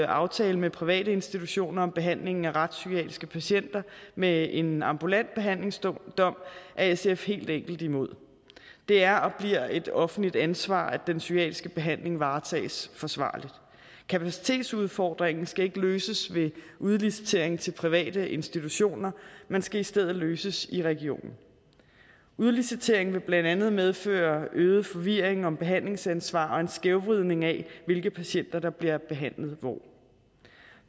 aftale med private institutioner om behandlingen af retspsykiatriske patienter med en ambulant behandlingsdom er sf helt enkelt imod det er og bliver et offentligt ansvar at den psykiatriske behandling varetages forsvarligt kapacitetsudfordringen skal ikke løses ved udlicitering til private institutioner men skal i stedet løses i regionen udliciteringen vil blandt andet medføre øget forvirring om behandlingsansvar og en skævvridning af hvilke patienter der bliver behandlet hvor